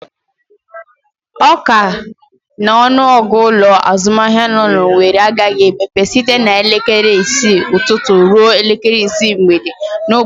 Ọ ka n'ọnụ ọgụ ụlọ azụmahịa nọ n'Owere agaghị emepe site elekere isii ụtụtụ ruo elekere isii mgbede n'ụbọchị atum votu.